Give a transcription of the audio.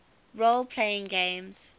role playing games